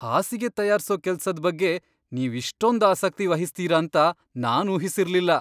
ಹಾಸಿಗೆ ತಯಾರ್ಸೋ ಕೆಲ್ಸದ್ ಬಗ್ಗೆ ನೀವ್ ಇಷ್ಟೊಂದ್ ಆಸಕ್ತಿ ವಹಿಸ್ತೀರ ಅಂತ ನಾನ್ ಊಹಿಸಿರ್ಲಿಲ್ಲ.